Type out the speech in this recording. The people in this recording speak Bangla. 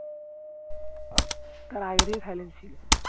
তার আগে থেকে silent ছিল